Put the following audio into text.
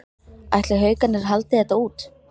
Ætli Haukarnir haldi þetta út?